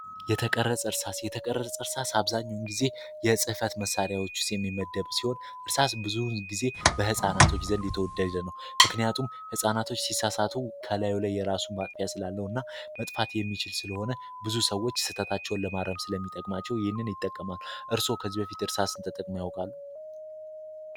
የተቀረፅ እርሳስ አብዛኙን ጊዜ የሕጽፈት መሳሪያዎችስ የሚመደብ ሲሆን እርሳስ ብዙን ጊዜ በሕፃናቶች ዘንድ የተወደደ ነው ምክንያቱም ሕፃናቶች ሲሳሳቱ ከላዩ ላይ የራሱን ማጥፊያ ስላለው እና መጥፋት የሚችል ስለሆነ ብዙ ሰዎች ስተታቸውን ለማረምስ ለሚጠቅማቸው ይህን ይጠቀማሉ እርስዎ ከዚ በፊት እርሳስ ንተጠቅም ያወቃሉ፡፡